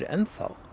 enn þá